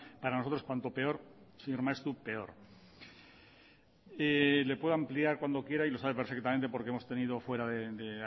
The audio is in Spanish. para nosotros cuanto peor señor maeztu peor le puedo ampliar cuando quiera y lo sabe perfectamente porque hemos tenido fuera de